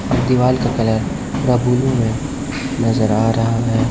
और दीवाल का कलर पूरा ब्लू में नजर आ रहा है।